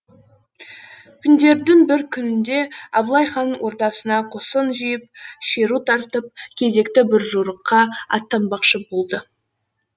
күндердің бір күнінде абылай хан ордасына қосын жиып шеру тартып кезекті бір жорыққа аттанбақшы болды